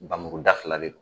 Bamuru da fila le non